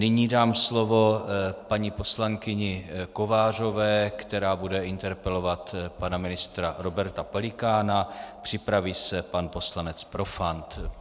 Nyní dám slovo paní poslankyni Kovářové, která bude interpelovat pana ministra Roberta Pelikána, připraví se pan poslanec Profant.